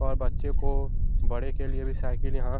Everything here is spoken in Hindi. और बच्चे को बड़े के लिये भी साईकिल यहाँ --